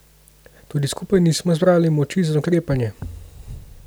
Tudi skupaj nismo zbrali moči za ukrepanje.